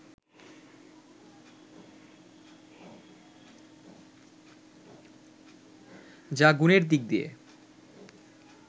যা গুণের দিক দিয়ে